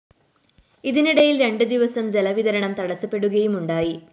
ഇതിനിടയില്‍ രണ്ട് ദിവസം ജല വിതരണം തടസപ്പെടുകയുമുണ്ടായി